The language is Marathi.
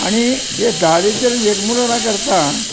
आणि दारिद्र्य जग मुलना करता